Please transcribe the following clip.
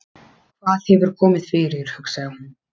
Hvað hefur komið fyrir, hugsaði hún.